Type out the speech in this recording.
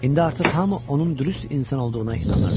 İndi artıq hamı onun dürüst insan olduğuna inanırdı.